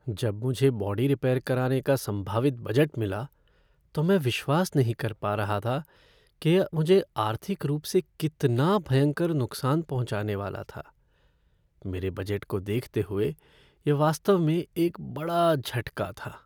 जब मुझे body repair कराने का संभावित बजट मिला तो मैं विश्वास नहीं कर पा रहा रहा था कि यह मुझे आर्थिक रूप से कितना भयंकर नुक्सान पहुँचाने वाला था। मेरे बजट को देखते हुए यह वास्तव में एक बड़ा झटका था।